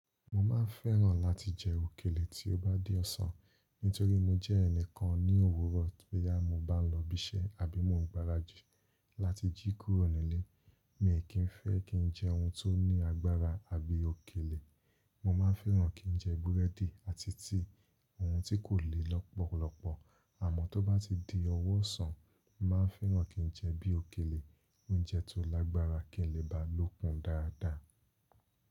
Mo ma ń fẹ́ràn láti jẹ òkèlè tí ó bá di ọ̀sán. Nítorí mo jẹ́ ẹnìkan ní òwúrọ̀ bóyá mo bá n lọ ibiṣẹ́ àbí mo n gbaradì láti jí kúrò nílé, mi kí ń fẹ́ kí n jẹ ohun tó ní agbára àbí òkèlè. Mo ma ń fẹ́ràn kí n jẹ búrẹ́dì àti tíí, oun tí kò le lọ́pọ̀lọpọ̀. Àmọ́ tó bá ti di ọwọ́ ọ̀sán, mo màá ń fẹ́ràn kí n jẹ bí òkèlè, oun jẹ tó lágbára kí n lè bá lòkun dáadáa.